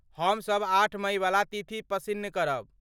हम सब आठ मइवला तिथि पसिन्न करब।